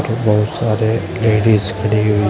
बहुत सारे लेडिस खड़ी हुई--